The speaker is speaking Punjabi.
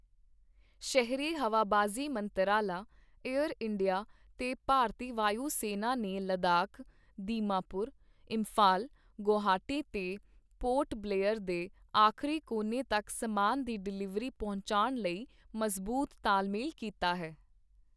ਸ਼ਹਿਰੀ ਹਵਾਬਾਜ਼ੀ ਮੰਤਰਾਲਾ, ਏਅਰ ਇੰਡੀਆ ਤੇ ਭਾਰਤੀ ਵਾਯੂ ਸੈਨਾ ਨੇ ਲੱਦਾਖ, ਦੀਮਾਪੁਰ, ਇੰਫ਼ਾਲ, ਗੁਵਾਹਾਟੀ ਤੇ ਪੋਰਟ ਬਲੇਅਰ ਦੇ ਆਖ਼ਰੀ ਕੋਨੇ ਤੱਕ ਸਮਾਨ ਦੀ ਡਿਲਿਵਰੀ ਪਹੁੰਚਾਉਣ ਲਈ ਮਜ਼ਬੂਤ ਤਾਲਮੇਲ ਕੀਤਾ ਹੈ।